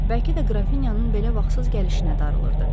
Bəlkə də Qrafinyanın belə vaxtsız gəlişinə darılırdı.